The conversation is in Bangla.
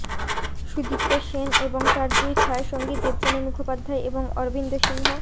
সুদীপ্ত সেন এবং তাঁর দুই ছায়াসঙ্গী দেবযানী মুখোপাধ্যায় এবং অরবিন্দ সিংহ